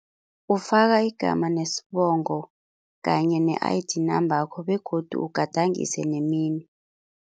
Ufaka igama nesibongo kanye ne-I_D number yakho begodu ugadangise nemino.